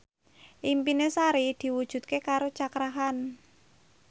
impine Sari diwujudke karo Cakra Khan